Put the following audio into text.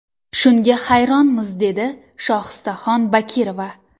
Shunga hayronmiz, dedi Shohistaxon Bakirova.